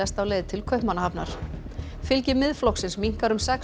á leið til Kaupmannahafnar fylgi Miðflokksins minnkar um sex